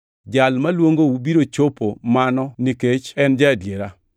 Jal maluongou biro chopo mano nikech en ja-adiera.